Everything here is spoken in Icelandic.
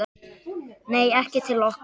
Nei, ekki til okkar